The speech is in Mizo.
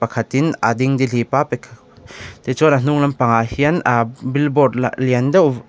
hatin a dingdihlip a pe tichuan a hnung lampangah hian aa billboard la lian deuh--